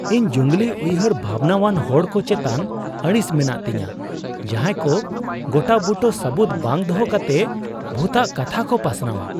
ᱤᱧ ᱡᱩᱝᱞᱤ ᱩᱭᱦᱟᱹᱨ ᱵᱷᱟᱵᱱᱟᱣᱟᱱ ᱦᱚᱲ ᱠᱚ ᱪᱮᱛᱟᱱ ᱟᱹᱲᱤᱥ ᱢᱮᱱᱟᱜ ᱛᱤᱧᱟᱹ, ᱡᱟᱦᱟᱸᱭ ᱠᱚ ᱜᱚᱴᱟᱼᱵᱩᱴᱟᱹ ᱥᱟᱹᱵᱩᱫᱽ ᱵᱟᱝ ᱫᱚᱦᱚ ᱠᱟᱛᱮ ᱵᱷᱩᱛᱟᱜ ᱠᱟᱛᱷᱟ ᱠᱚ ᱯᱟᱥᱱᱟᱣᱼᱟ ᱾